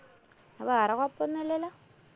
എന്നാ വേറെ കൊഴപ്പോന്നുല്ലാല്ലോ?